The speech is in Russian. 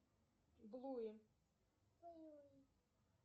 блуи